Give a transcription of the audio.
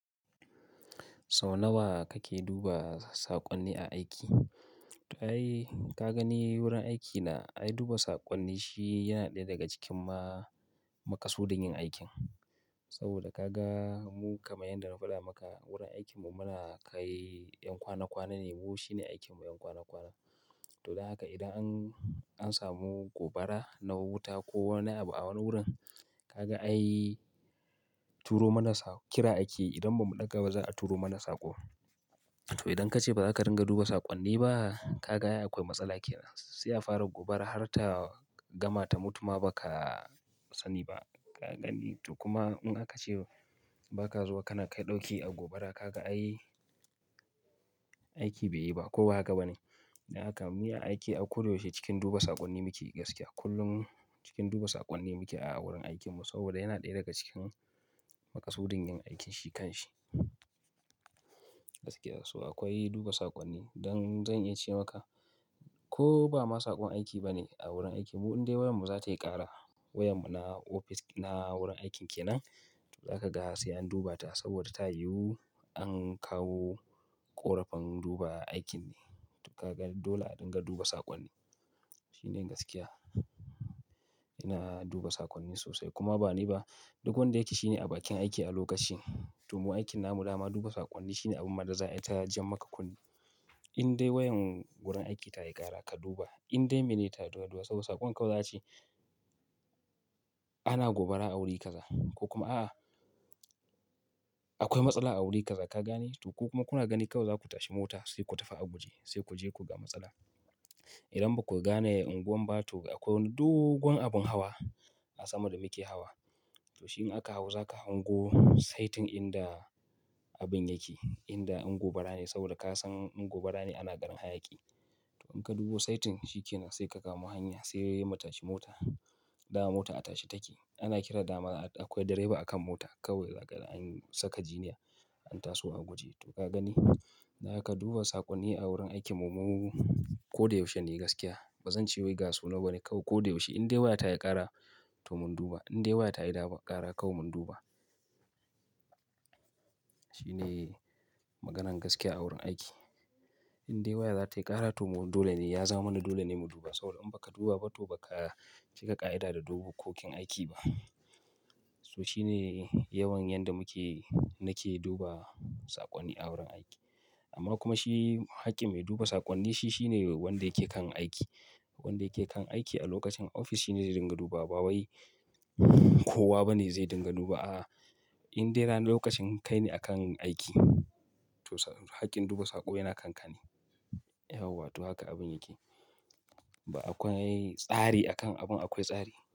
Sau nawa kake duba saƙonni a aiki? To ai, ka gani wurin aikina, ai duba saƙonni shi yana ɗaya daga cikin ma maƙasudin yin aikin. Saboda ka ga mu kamar yanda na faɗa maka wurin aikinmu muna kai ƴan kwana kwana ne, mu shine aikinmu ƴan kwana kwana. To dan haka idan an, an samu gobara na wuta ko wani abu a wani wurin, ka ga ai turo mana saƙ, kira ake yi idan ba mu ɗaga ba za a turo mana saƙo. To idan ka ce ba za ka dinga duba saƙonni ba, ka ga ai akwai matsala kenan. Sai a fara gobara har ta gama ta mutu ma ba ka sani ba. Ka gani, to kuma in aka ce ba ka zuwa kana kai ɗauki a gobara ka ga ai aiki bai yi ba ko ba haka ba ne. Dan haka mu a aiki a ko da yaushe cikin duba saƙonni muke gaskiya. Kullum cikin duba saƙonni muke a wurin aikinmu saboda yana ɗaya daga cikin maƙasu din yin aikin shi kan shi. Gaskiya, so akwai duba saƙonni. Don zan iya ce maka ko ba ma saƙon aiki ba ne a wurin aiki mu in dai wayarmu za ta yi ƙara, wayarmu na ofis na wurin aikin kenan, to za ka ga sai an duba ta saboda ta yiwu an kawo ƙorafin duba aikin ne. To ka gan dole a dinga duba saƙonni. Shine gaskiya. Ina duba saƙonni sosai kuma ba ni ba, duk wanda yake shi ne a bakin aiki a lokaci. To mu aikin na mu dama duba saƙonni shine abun ma da za yi ta jan maka kunne. In dai wayan wurin aiki ta yi ƙara ka duba. In dai me ni ta duba duba saboda saƙon kau zai ci. Ana gobara a wuri kaza ko kuma a, a akwai matsala a wuri kaza ka gane to ku kuma kuna gani kawai za ku tashi mota sai ku tafi aguje sai ku je ku ga matsala. Idan ba ku gane unguwan ba, to akwai dogon abin hawa a sama da muke hawa. To shi in aka hau za ka hango saitin inda abin yake, inda in gobara saboda kasan gobara ne a na ganin hayaƙi. To in ka duba saitin shikenan sai ka kamo hanya sai mutashi mota, dama mota a tashe take. Ana kiran dama akwai direba akan mota kawai za ka an saka jiniya an taso aguje. To ka gani, dan haka duba saƙonni a wurin aikinmu mu ko da yaushe ne gaskiya. Ba zan ce wai ga sunan wani kawai ko da yaushe. In dai waya ta yi ƙara to mun duba. In dai waya ta yi dama ƙara kau mun duba. Shine maganan gaskiya a wurin aiki. In dai waya za ta yi ƙara to dole ne ya zamani dole ne mu duba saboda in ba ka duba ba to ba ka cika ƙa'ida da dokokin aiki ba. So shine yawan yanda muke, nake duba saƙonni a wurin aiki. Amma kuma shi hakkin mai duba saƙonni shi shine wanda yake kan aiki. Wanda yake kan aiki a lokacin ofis shine zai dinga duba ba wai kowa bane zai dinga duba a. In dai ranar lokacin kai ne a kan aiki to haƙƙin duba saƙo yana kankane. Yauwa to haka abin yake. Ba akwai tsari akan abun akwai tsari.